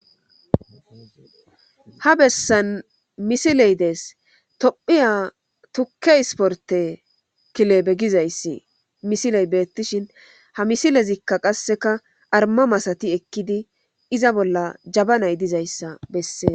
Ha bessan misiley dees tophiya tukke isporte kilebe gizayssi misiley beettishin ha misilezikka qasseka arma masati ekkidi iza bolla jaba nay dizayssa bessees.